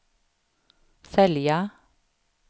sälja